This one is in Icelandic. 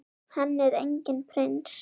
Hann er enginn prins.